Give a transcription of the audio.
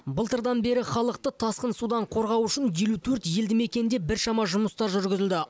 былтырдан бері халықты тасқын судан қорғау үшін елу төрт елді мекенде біршама жұмыстар жүргізілді